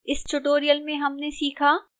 इस tutorial में हमने सीखा :